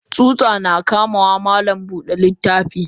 Tsuta na kamawa malam Buda littafi.